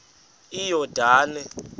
iyordane